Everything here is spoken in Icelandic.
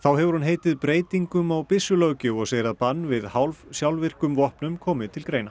hefur hún heitið breytingum á byssulöggjöf og segir að bann við hálf sjálfvirkum vopnum komi til greina